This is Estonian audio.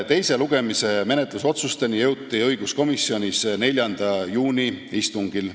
Teise lugemise menetlusotsusteni jõuti õiguskomisjonis 4. juuni istungil.